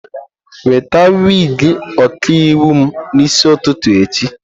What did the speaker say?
Weta wig ọkaiwu m n'isi ụtụtụ echi!